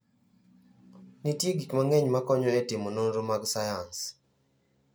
Nitie gik mang'eny ma konyo e timo nonro mag sayans.